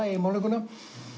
í málninguna